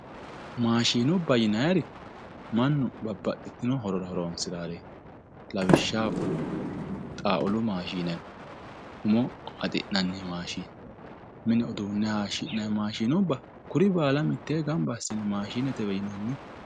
Maashinubba yinanniri mannu babbaxxino horora horonsirareti lawishshaho xawulu maashine no ,umo haxi'nanni maashine, mine uduune hayishi'nanni maashine yinanni maashinubba kuri baalla maashinubbatewe yinanni.